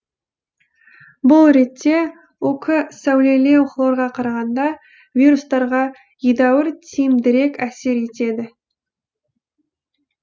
бұл ретте ук сәулелеу хлорға қарағанда вирустарға едәуір тиімдірек әсер етеді